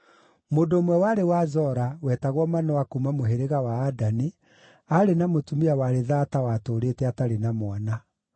Mũndũ ũmwe warĩ wa Zora, wetagwo Manoa kuuma mũhĩrĩga wa Adani, aarĩ na mũtumia warĩ thaata watũũrĩte atarĩ na mwana.